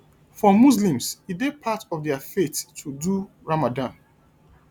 for muslims e dey part of their faith to do ramadan